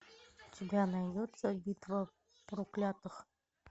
у тебя найдется битва проклятых